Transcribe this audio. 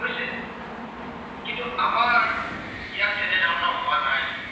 ইয়াত তেনে ধৰনৰ হোৱা নাই।